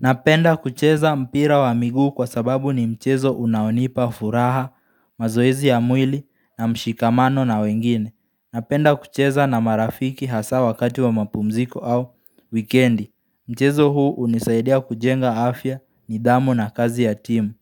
Napenda kucheza mpira wa miguu kwa sababu ni mchezo unaonipa furaha, mazoezi ya mwili na mshikamano na wengine. Napenda kucheza na marafiki hasaa wakati wa mapumziko au wikendi. Mchezo huu hunisaidia kujenga afya nidhamu na kazi ya timu.